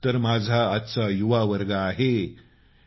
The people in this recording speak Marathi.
हाच तर माझा आजचा युवावर्ग आहे